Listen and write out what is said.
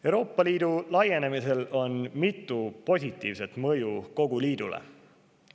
Euroopa Liidu laienemisel on mitu positiivset mõju kogu liidule.